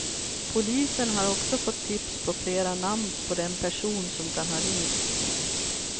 Polisen har också fått tips på flera namn på den person som kan ha ringt.